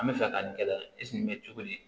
An bɛ fɛ ka nin kɛ nin bɛ cogo di